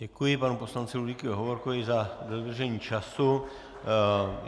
Děkuji panu poslanci Ludvíku Hovorkovi za dodržení času.